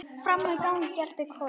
Frammi í gangi geltir Kolur.